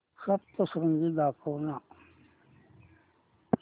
सप्तशृंगी दाखव ना